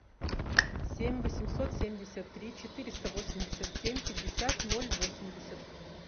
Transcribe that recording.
семь восемьсот семьдесят три четыреста восемьдесят семь пятьдесят ноль восемьдесят